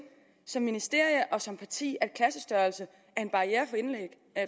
som ministerium og som parti at klassestørrelsen er en barriere